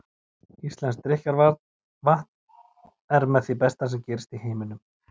Íslenskt drykkjarvatn er með því besta sem gerist í heiminum.